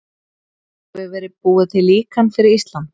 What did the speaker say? Hefur verið búið til líkan fyrir Ísland?